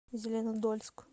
зеленодольск